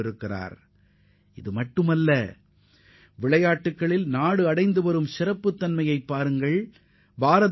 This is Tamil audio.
அத்தோடு நின்றுவிடாமல் இந்திய விளையாட்டுத் துறை எந்த அளவிற்கு மிக வேகமாக சிறப்பிடம் பெற்று வருகிறது என்பதையும் கவனிக்க வேண்டும்